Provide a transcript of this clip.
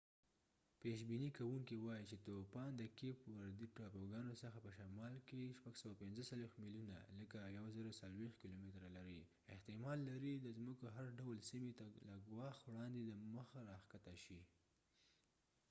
پيش بينى كوونكې واې چي توپان د کيپ وردي ټاپوګانو څخه په سمال کي645 ميلونه 1040 کلوميره لرې دي، احتمال لري د ځمکو هر ډول سیمې ته له ګواښ وړاندې دمخه راښکته شي۔